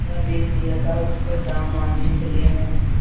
मुर्दा बैल दिया था उस पर दाम माँगने चले हैं